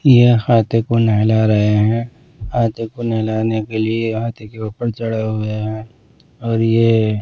ये हाथ को नहला रहे हैं हाथी को नहलाने के लिए हाथी के ऊपर चढ़ा हुए हैं और ये--